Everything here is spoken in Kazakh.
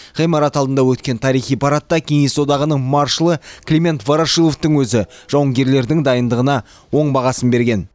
ғимарат алдында өткен тарихи парадта кеңес одағының маршалы климент ворошиловтың өзі жауынгерлердің дайындығына оң бағасын берген